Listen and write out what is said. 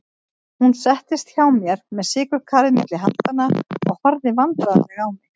Hún settist hjá mér með sykurkarið milli handanna og horfði vandræðaleg á mig.